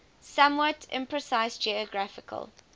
somewhat imprecise geographical